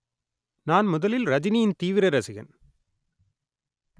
நான் முதலில் ரஜினியின் தீவிர ரசிகன்